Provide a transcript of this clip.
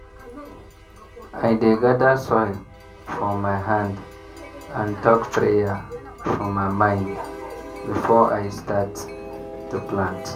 i dey gather soil for my hand and talk prayer for my mind before i start to plant.